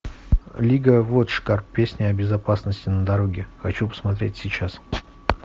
лига вотчкар песня о безопасности на дороге хочу посмотреть сейчас